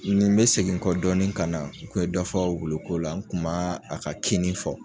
ni n be segi n kɔ dɔɔnin kana ke dɔ fɔ wulu ko la n tu maa a ka kinni fɔ